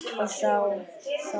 Og þá það.